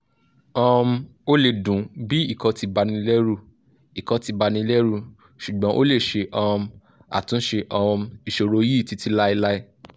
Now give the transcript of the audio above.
um o le dun bi ikan ti banileru ikan ti banileru sugbon o le se um atunse um isoro yi titilailai